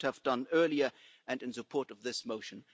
you should have done earlier and in support of this motion.